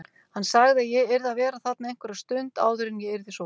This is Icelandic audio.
Hann sagði að ég yrði að vera þarna einhverja stund áður en ég yrði sótt.